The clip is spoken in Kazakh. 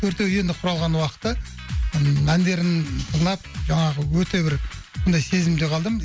төртеуі енді құралған уақыты ыыы әндерін тыңдап жаңағы өте бір сондай сезімде қалдым